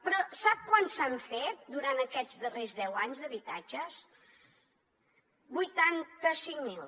però sap quants se n’han fet durant aquests darrers deu anys d’habitatges vuitanta cinc mil